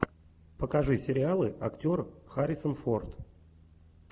покажи сериалы актер харрисон форд